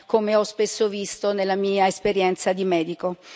come ho spesso visto nella mia esperienza di medico.